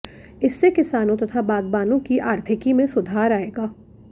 इससे किसानों तथा बागबानों की आर्थिकी में सुधार आएगा